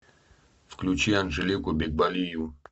включи анжелику бекболиеву